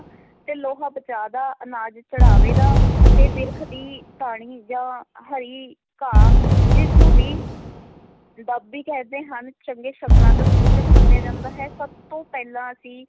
ਤੇ ਲੋਹਾ ਬਚਾਅ ਦਾ, ਅਨਾਜ ਚੜ੍ਹਾਵੇ ਦਾ ਅਤੇ ਬਿਰਖ ਦੀ ਟਹਿਣੀ ਜਾਂ ਹਰੀ ਘਾਹ ਜਿਸ ਨੂੰ ਵੀ ਦੁੱਬ ਵੀ ਕਹਿੰਦੇ ਹਨ, ਚੰਗੇ ਸ਼ਗਨਾਂ ਦਾ ਸੂਚਕ ਮੰਨਿਆ ਜਾਂਦਾ ਹੈ, ਸਭ ਤੋਂ ਪਹਿਲਾਂ ਅਸੀਂ